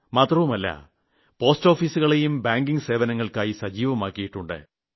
മാത്രമല്ല പോസ്റ്റോഫീസുകളെയും ബാങ്കിംഗ് സേവനങ്ങൾക്കായി സജീവമാക്കിയിട്ടുണ്ട്